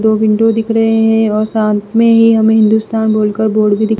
दो विंडो दिख रहे हैं और साथ में ही हमे हिन्दुस्तान ।